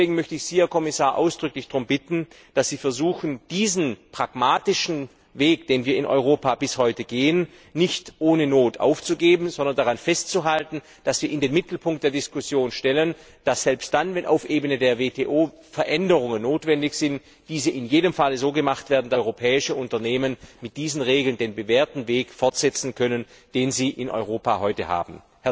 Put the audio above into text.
Deswegen möchte ich Sie, Herr Kommissar, ausdrücklich darum bitten, dass Sie versuchen, diesen pragmatischen Weg, den wir in Europa bis heute gehen, nicht ohne Not aufzugeben, sondern daran festzuhalten, dass wir in den Mittelpunkt der Diskussion stellen, dass selbst dann, wenn auf Ebene der WTO Veränderungen notwendig sind, diese auf jeden Fall so gemacht werden, dass europäische Unternehmen mit diesen Regeln den bewährten Weg fortsetzen können, den sie in Europa heute haben.